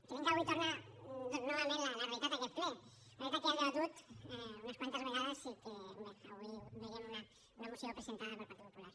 creiem que avui torna novament la realitat a aquest ple una realitat que ja hem debatut unes quantes vegades i que bé avui veiem en una moció presentada pel partit popular